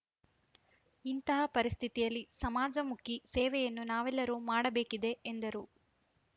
ಇಂತಹ ಪರಿಸ್ಥಿತಿಯಲ್ಲಿ ಸಮಾಜಮುಖಿ ಸೇವೆಯನ್ನು ನಾವೆಲ್ಲರೂ ಮಾಡಬೇಕಿದೆ ಎಂದರು